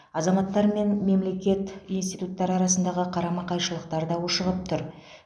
азаматтар мен мемлекет институттары арасындағы қарама қайшылықтар да ушығып тұр